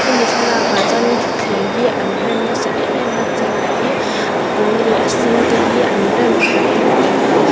hemi thlalakah chuan ṭhutthleng hi an rem na sa em em a chair hi a pâwl leh a sen te hi an rem khat deuh vek a.